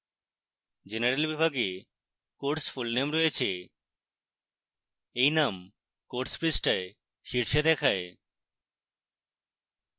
general বিভাগে course full name রয়েছে